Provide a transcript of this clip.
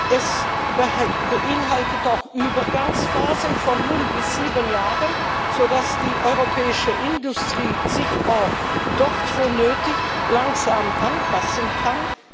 Es beinhaltet auch Übergangsphasen von null bis sieben Jahren, sodass die europäische Industrie sich auch dort, wo nötig, langsam anpassen kann.